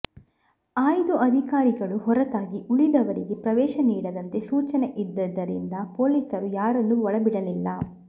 ಆಯ್ದ ಅಧಿಕಾರಿಗಳು ಹೊರತಾಗಿ ಉಳಿದವರಿಗೆ ಪ್ರವೇಶ ನೀಡದಂತೆ ಸೂಚನೆ ಇದ್ದರಿಂದ ಪೊಲೀಸರು ಯಾರನ್ನೂ ಒಳ ಬಿಡಲಿಲ್ಲ